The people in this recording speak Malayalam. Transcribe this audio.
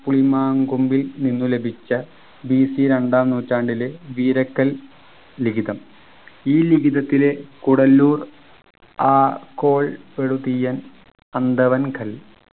പുളിമാങ്കൊമ്പിൽ നിന്ന് ലഭിച്ച BC രണ്ടാം നൂറ്റാണ്ടിലെ വീരക്കൽ ലിഖിതം ഈ ലിഖിതത്തിലെ കൂടല്ലൂർ ആ കോൾ എഴുതിയ അന്തവങ്കൽ